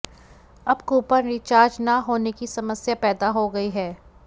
अब coupon recharge न होने की समस्या पैदा हो गई है